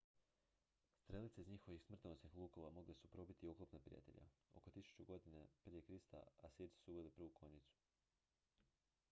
strelice iz njihovih smrtonosnih lukova mogle su probiti oklop neprijatelja oko 1000. g pr kr asirci su uveli prvu konjicu